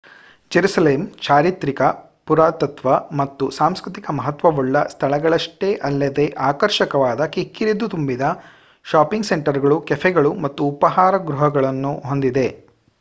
Jerusalem ಚಾರಿತ್ರಿಕ ಪುರಾತತ್ವ ಮತ್ತು ಸಾಂಸ್ಕೃತಿಕ ಮಹತ್ವವುಳ್ಳ ಸ್ಥಳಗಳಷ್ಟೇ ಅಲ್ಲದೆ ಆಕರ್ಷಕವಾದ ಕಿಕ್ಕಿರಿದು ತುಂಬಿದ ಷಾಪಿಂಗ್ ಸೆಂಟರ್ಗಳು ಕೆಫೆಗಳು ಮತ್ತು ಉಪಾಹಾರ ಗೃಹಗಳನ್ನು ಹೊಂದಿದೆ